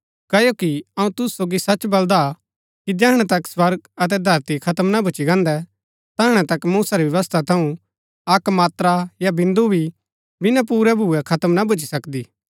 क्ओकि अऊँ तुसु सोगी सच बलदा कि जैहणै तक स्वर्ग अतै धरती खत्म ना भूच्ची गान्दै तैहणै तक मूसा री व्यवस्था थऊँ अक्क मात्रा या बिन्दु भी बिना पुरै भुऐ खत्म ना भूच्ची सकदी